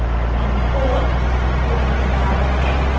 यानी 4 4 के बराबर है